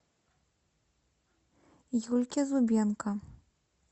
юльке зубенко